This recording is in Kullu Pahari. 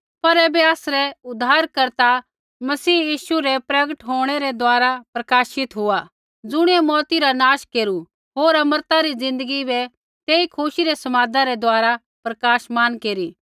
पर ऐबै आसरै उद्धारकर्ता मसीह यीशु रै प्रगट होंणै रै द्वारा प्रकाशित हुआ ज़ुणियै मौऊती रा नाश केरू होर अमरता री ज़िन्दगी बै तेई खुशी रै समादै रै द्वारा प्रकाशमान केरी